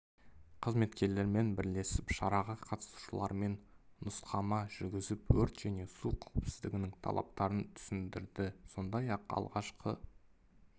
қызметкерлерімен бірлесіп шараға қатысушылармен нұсқама жүргізіп өрт және су қауіпсіздігінің талаптарын түсіндірді сондай-ақ алғашқы